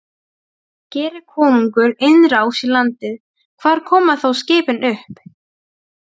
Geri konungur innrás í landið, hvar koma þá skipin upp?